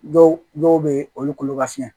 Dɔw dɔw bɛ olu kolo ka fiɲɛ